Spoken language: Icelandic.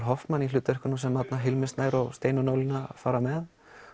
Hoffman í aðalhlutverkunum sem Hilmir Snær og Steinunn Ólína fara með